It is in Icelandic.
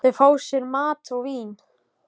Þau fá sér mat og vín.